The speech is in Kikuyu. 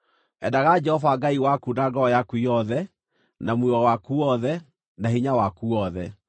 Endaga Jehova Ngai waku na ngoro yaku yothe, na muoyo waku wothe, na hinya waku wothe.